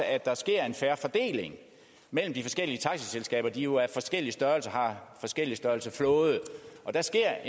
at der sker en fair fordeling mellem de forskellige taxaselskaber de har jo forskellige størrelser og har forskellig størrelse flåde der sker